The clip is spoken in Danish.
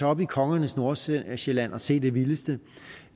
op i kongernes nordsjælland nordsjælland og se det vildeste